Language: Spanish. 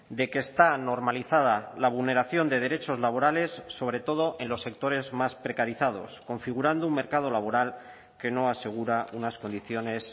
de que está normalizada la vulneración de derechos laborales sobre todo en los sectores más precarizados configurando un mercado laboral que no asegura unas condiciones